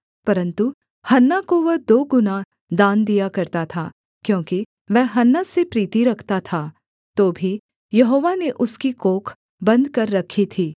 परन्तु हन्ना को वह दो गुना दान दिया करता था क्योंकि वह हन्ना से प्रीति रखता था तो भी यहोवा ने उसकी कोख बन्द कर रखी थी